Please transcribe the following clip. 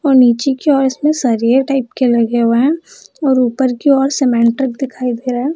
और नीचे की ओर इसमें सरिये टाइप के लगे हुए हैं और ऊपर की ओर सीमेंट दिखाई दे रहे है ।